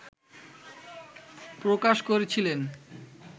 প্রকাশ করেছিলেন